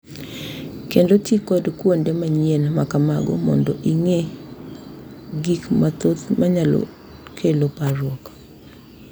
Kendo ti kod kuonde manyien ma kamago mondo ing’e gik mathoth ma nyalo kelo parruok.